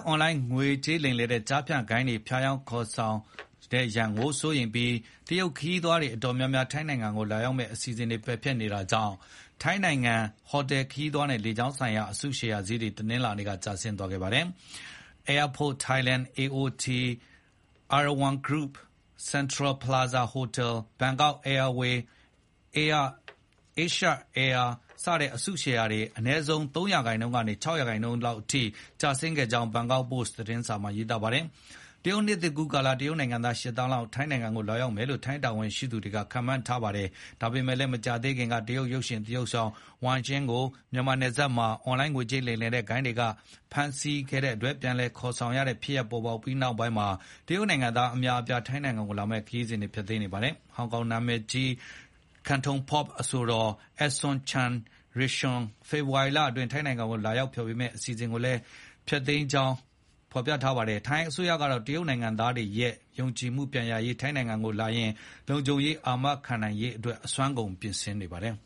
အွန်လိုင်းငွေကြေးလိမ်လည်တဲ့ ကျားဖြန့် ဂိုဏ်းတွေ ဖြားယောင်းခေါ်ယူတဲ့ရန်ကို စိုးရိမ်ပြီး တရုတ်ခရီးသည်တော်တော်များများ ထိုင်းနိုင်ငံကို လာရောက်မယ့် ခရီးစဉ်တွေ ပယ်ဖျက်နေတာကြောင့် ထိုင်းနိုင်ငံ ဟော်တယ်ခရီးသွားနဲ့ လေကြောင်းလိုင်းဆိုင်ရာ အစုရှယ်ယာဈေးတွေ တနင်္လာနေ့က ကျဆင်းခဲ့ပါတယ်။ Airports of Thailand Erawan Group Central Plaza Hotel Bangkok Airways နဲ့ Asia Aviation စတဲ့ အစုရှယ်ယာ အနည်းဆုံး ၃ ရာခိုင်နှုန်းနီးပါးကနေ ၆ ရာခိုင်နှုန်းလောက်အထိ ကျဆင်းခဲ့တဲ့အကြောင်း ဘန်ကောက်ပို့စ် သတင်းစာမှာရေးပါတယ်။ တရုတ်နှစ်သစ်ကူးကာလ တရုတ်နိုင်ငံသား ၈ သန်းလောက် ထိုင်းနိုင်ငံကို လာရောက်မယ်လို့ ထိုင်း တာဝန်ရှိသူတွေ ခန့်မှန်းထားကြတာပါ။ ဒါပေမဲ့လည်း မကြာသေးခင်က တရုတ် ရုပ်ရှင်သရုပ်ဆောင် Wang Xing ကို မြန်မာနယ်စပ်မှာ အွန်လိုင်းငွေကြေးလိမ်လည်တဲ့ ဂိုဏ်းတွေဆီက ပြန်လည်ကယ်ဆယ်ခဲ့ရတဲ့ ဖြစ်ရပ် ပေါ်ပေါက်ပြီးနောက်မှာ တရုတ်နိုင်ငံသား အများအပြား ထိုင်းနိုင်ငံကို လာမယ့် ခရီးစဉ်တွေ ဖျက်သိမ်းနေပါတယ်။ ဟောင်ကောင် နာမယ်ကြီး Cantopop အဆိုတော် Eason Chan Yik-shun ဖေဖေါ်ဝါရီလအတွင်း ထိုင်းနိုင်ငံမှာ လာရောက်ဖျော်ဖြေဖို့ စီစဉ်ထားတဲ့ ဖျော်ဖြေပွဲကို လုံခြုံရေးအကြောင်းပြချက်နဲ့ ဖျက်သိမ်းလိုက်ပါတယ်။ ထိုင်းအစိုးရကတော့ တရုတ်နိုင်ငံသားတွေရဲ့ ယုံကြည်မှု ပြန်ရရေး၊ ထိုင်းနိုင်ငံကို လာရင် လုံခြုံရေးအာမခံနိုင်ရေးအတွက် အစွမ်းကုန် ပြင်ဆင်နေပါတယ်။